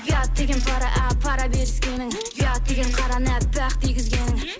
ұят деген пара ап пара беріскенің ұят деген қараны әппақ дегізгенің